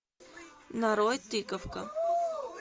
нарой тыковка